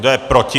Kdo je proti?